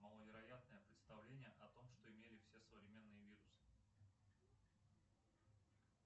маловероятное представление о том что имели все современные вирусы